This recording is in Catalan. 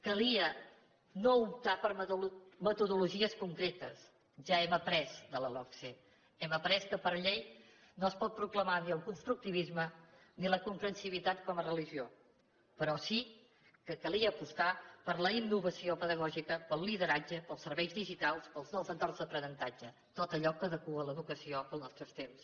calia no optar per metodologies concretes ja hem après de la logse hem après que per llei no es pot proclamar ni el constructivisme ni la comprensibilitat com a religió però sí que calia apostar per la innovació pedagògica pel lideratge pels serveis digitals pels nous entorns d’aprenentatge tot allò que adequa l’educació als nostres temps